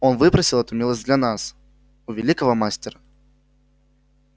он выпросил эту милость для нас у великого мастера